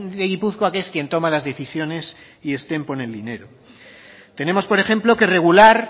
de gipuzkoa que es quien toma las decisiones y ezten pone el dinero tenemos por ejemplo que regular